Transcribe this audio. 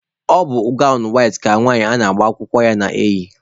Ọ bụ gawnụ ọcha ka nwanyị na-agba akwụkwọ na-eyị.